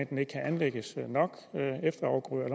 kan anlægges nok efterafgrøder og